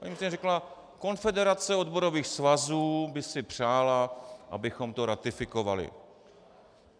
Paní ministryně řekla: Konfederace odborových svazů by si přála, abychom to ratifikovali.